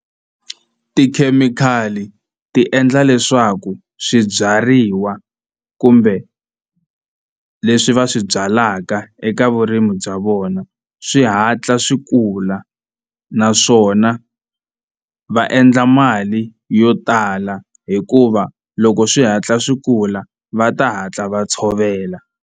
Tikhemikhali ti endla leswaku swibyariwa kumbe leswi va swi byalaka eka vurimi bya vona swi hatla swi kula naswona va endla mali yo tala hikuva loko swi hatla swi kula va ta hatla va tshovela.